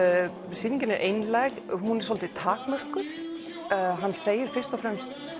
sýningin er einlæg hún er svolítið takmörkuð hann segir fyrst og fremst